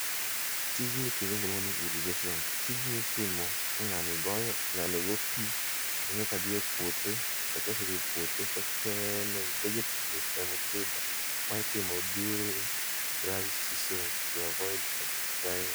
Tijni kisungu luongo ni irrigation. Tijni itimo ka ng'ani goye, ng'ani go pii toringo kadhi e puothe to kosedhi e puothe to kene vegetables ge mopido. Ma itimo during dry season to avoid drying